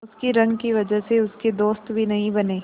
उसकी रंग की वजह से उसके दोस्त भी नहीं बने